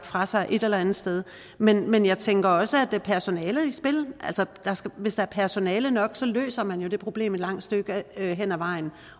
fra sig et eller andet sted men men jeg tænker også at personale er i spil hvis der er personale nok løser man jo det problem et langt stykke hen ad vejen